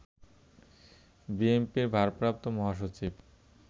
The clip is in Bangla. বিএনপির ভারপ্রাপ্ত মহাসচিব